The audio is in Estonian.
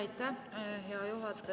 Aitäh, hea juhataja!